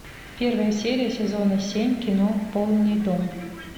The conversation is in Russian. первая серия сезона семь кино полный дом